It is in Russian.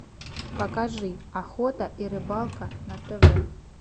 покажи охота и рыбалка на тв